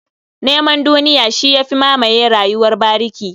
Neman duniya shi ya fi mamaye rayuwar bariki.